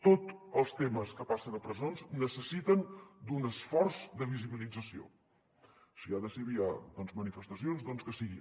tots els temes que passen a presons necessiten un esforç de visibilització si ha de ser via manifestacions doncs que ho sigui